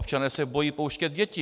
Občané se bojí pouštět děti.